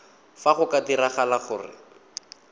fa go ka diragala gore